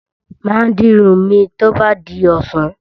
Mà á di irun mi tó bá di ọ̀sán.